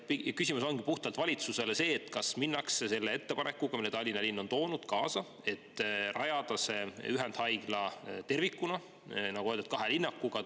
Küsimus on puhtalt valitsusele see: kas minnakse selle ettepanekuga, mille Tallinna linn on toonud, kaasa, et rajada ühendhaigla tervikuna, nagu öeldud, kahe linnakuga?